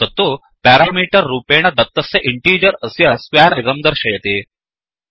तत्तु पेरामीटर् रूपॆण दत्तस्य इण्टीजर् अस्य स्क्वेर् इदं दर्शयति